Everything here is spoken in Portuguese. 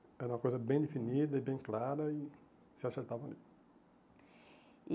Era uma coisa bem definida e bem clara e se acertava ali. E